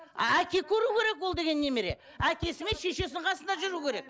әке көру керек ол деген немере әкесі мен шешесінің қасында жүру керек